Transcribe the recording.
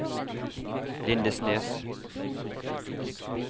Lindesnes